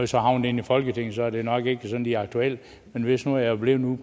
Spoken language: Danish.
så havnet inde i folketinget og så er det nok ikke lige aktuelt men hvis nu jeg var blevet ude